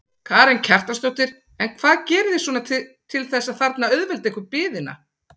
Karen Kjartansdóttir: En hvað gerið þið svona til þess að þarna auðvelda ykkur biðina?